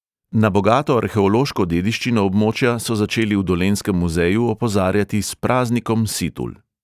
Na bogato arheološko dediščino območja so začeli v dolenjskem muzeju opozarjati s praznikom situl.